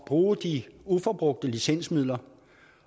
bruge de uforbrugte licensmidler